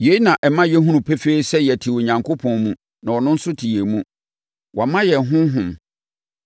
Yei na ɛma yɛhunu pefee sɛ yɛte Onyankopɔn mu na ɔno nso te yɛn mu. Wama yɛn ne Honhom.